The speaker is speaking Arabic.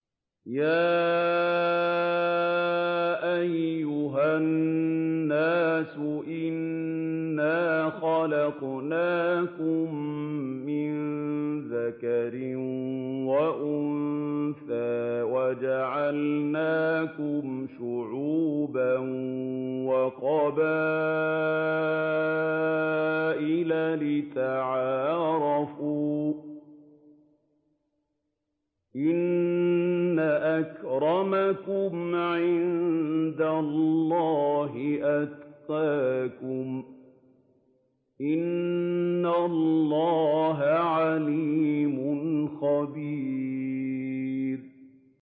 يَا أَيُّهَا النَّاسُ إِنَّا خَلَقْنَاكُم مِّن ذَكَرٍ وَأُنثَىٰ وَجَعَلْنَاكُمْ شُعُوبًا وَقَبَائِلَ لِتَعَارَفُوا ۚ إِنَّ أَكْرَمَكُمْ عِندَ اللَّهِ أَتْقَاكُمْ ۚ إِنَّ اللَّهَ عَلِيمٌ خَبِيرٌ